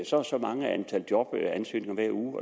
så og så mange jobansøgninger hver uge